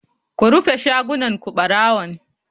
Ku rufe shagunan ku barawon.